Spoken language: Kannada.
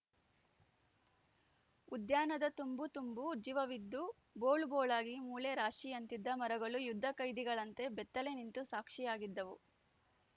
ಉದ್ಯಾನದ ತುಂಬು ತುಂಬು ಜೀವವಿದ್ದೂ ಬೋಳು ಬೋಳಾಗಿ ಮೂಳೆ ರಾಶಿಯಂತಿದ್ದ ಮರಗಳು ಯುದ್ಧಖೈದಿಗಳಂತೆ ಬೆತ್ತಲೆ ನಿಂತು ಸಾಕ್ಷಿಯಾಗಿದ್ದವು